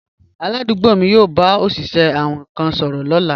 Aládùúgbò mi yóò bá òṣìṣẹ́ awin kan sọ̀rọ̀ lọ́la